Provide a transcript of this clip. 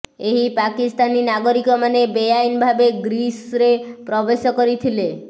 ଏହି ପାକିସ୍ତାନୀ ନାଗରିକମାନେ ବେଆଇନ ଭାବେ ଗ୍ରୀସରେ ପ୍ରବେଶ କରିଥିଲେ